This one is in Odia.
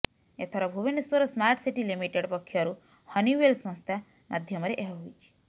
ଏଥର ଭୁବନେଶ୍ବର ସ୍ମାର୍ଟ ସିଟି ଲିମିଟେଡ୍ ପକ୍ଷରୁ ହନିୱେଲ୍ ସଂସ୍ଥା ମାଧ୍ୟମରେ ଏହା ହୋଇଛି